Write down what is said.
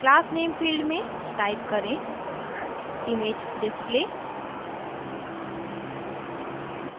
class name field में type करें imagedisplay